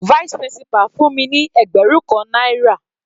Vice principal fún mi ní ẹgbẹrun kan náírà.